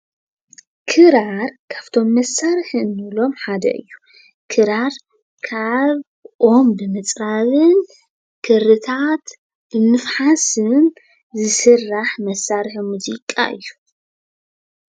ክራር ካፍቶም መሳርሂ ንብሎም ሓደ እዩ። ክራር ካብ ኦም ብምፅራብን ክርታት ብምፍሓሥን ዝስራሕ መሳርሒ ሙዚቃ እዩ።